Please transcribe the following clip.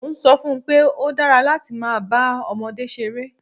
Mo ń sọ fún un pé ó dára láti máa bá ọmọdé ṣeré